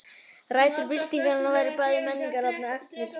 Rætur byltingarinnar voru bæði menningarlegar og efnahagslegar.